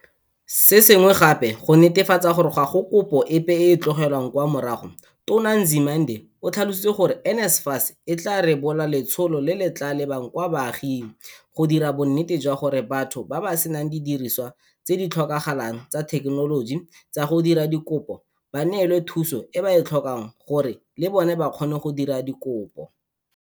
Se sengwe gape, go netefatsa gore ga go kopo epe e e tlogelwang kwa morago, Tona Nzimande o tlhalositse gore NSFAS e tla rebola letsholo le le tla lebang kwa baaging, go dira bonnete jwa gore batho ba ba senang didiriswa tse di tlhokagalang tsa thekenoloji tsa go dira dikopo ba neelwa thuso e ba e tlhokang gore le bona ba kgone go dira dikopo.